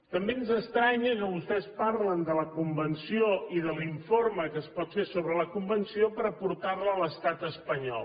també ens estranya que vostès parlin de la convenció i de l’informe que es pot fer sobre la convenció per portar la a l’estat espanyol